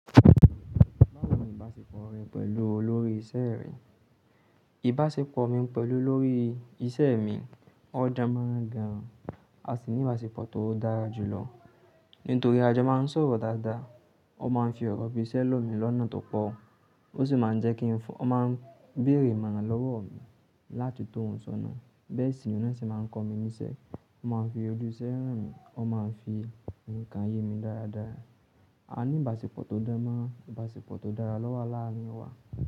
Báwo ni ìbáṣepọ̀ rẹ pẹ̀lú olórí iṣẹ́ rẹ? Ìbáṣepọ̀ mi pẹ̀lú olórí iṣẹ́ mi o dan márań gan, a sì ní ìbáṣepọ̀ tó dára jù lọ. Nítorí àjọ máa ń sọ̀rọ̀ dáadáa, ó máa ń fi ọ̀rọ̀ ibi iṣẹ́ lómi lọ́nà tó pọ̀, ó sì máa ń jẹ́ kí ń fọ́, ó máa ń bèrè imọ̀ran lọ́wọ́ mi láti tó hun ṣọnà. Bẹ́ẹ̀ sì ni wọ́n sì máa ń kọ́ mi níṣẹ́, ó máa ń fi ojúṣe hán mi, ó máa ń fi nǹkan yé mi dáradára. A ní ìbáṣepọ̀ tó dán mọ́ran, ìbáṣepọ̀ tó dára lọ́wọ́ aláàárín wa.